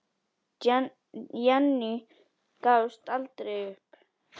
Jenný gafst aldrei upp.